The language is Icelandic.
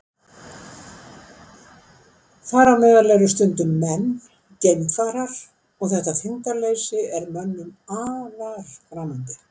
Þar á meðal eru stundum menn, geimfarar, og þetta þyngdarleysi er mönnum afar framandi.